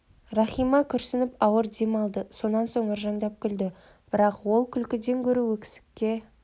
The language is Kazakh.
рахима күрсініп ауыр дем алды сонан соң ыржаңдап күлді бірақ ол күлкіден гөрі өксікке